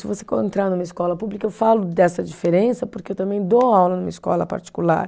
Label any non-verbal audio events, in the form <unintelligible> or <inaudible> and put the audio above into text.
Se você <unintelligible> numa escola pública, eu falo dessa diferença, porque eu também dou aula numa escola particular.